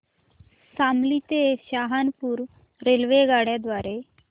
शामली ते सहारनपुर रेल्वेगाड्यां द्वारे